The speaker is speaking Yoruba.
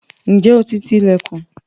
Ǹjẹ́ o ti ti ilẹ̀kùn?